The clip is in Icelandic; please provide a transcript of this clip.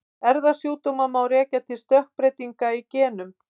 Erfðasjúkdóma má rekja til stökkbreytinga í genum.